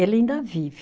Ele ainda vive.